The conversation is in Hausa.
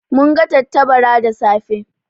Mun ga tattabara da safe.